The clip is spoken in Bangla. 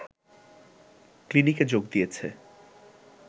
ক্লিনিকে যোগ দিয়েছে